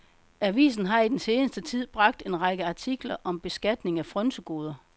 Avisen har i den seneste tid bragt en række artikler om beskatning af frynsegoder.